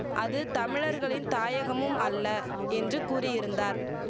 அது தமிழர்களின் தாயகமும் அல்ல என்று கூறியிருந்தார்